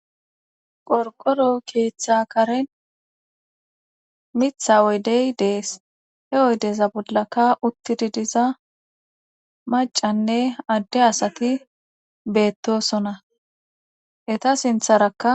Qorqoro keeththa karen mitha oydey dees he oydeza bollaka uttidi diza macanne adde asati beettosona eta sintharakka.